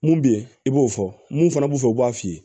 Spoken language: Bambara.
Mun bɛ yen i b'o fɔ mun fana b'o fɛ u b'a f'i ye